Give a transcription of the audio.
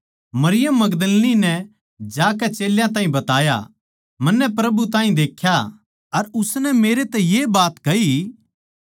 मरियम मगदलीनी नै जाकै चेल्यां ताहीं बताया मन्नै प्रभु ताहीं देख्या अर उसनै मेरै तै ये बात कही